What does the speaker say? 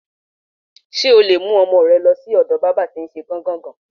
S̩e o lè mú o̩mo̩ re̩ lo̩ sí ò̩do̩ bábà tí n s̩e gán-gàn-gán.